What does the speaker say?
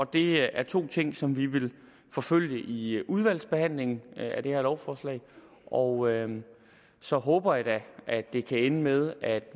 det er to ting som vi vil forfølge i udvalgsbehandlingen af det her lovforslag og så håber jeg da at det kan ende med at